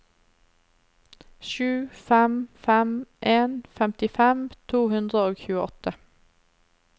sju fem fem en femtifem to hundre og tjueåtte